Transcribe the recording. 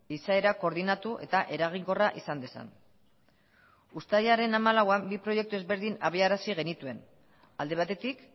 izaera koordinatu eta eraginkorra izan dezan uztailaren hamalauean bi proiektu ezberdin abiarazi genituen alde batetik